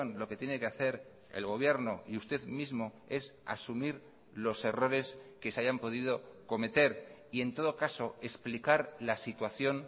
lo que tiene que hacer el gobierno y usted mismo es asumir los errores que se hayan podido cometer y en todo caso explicar la situación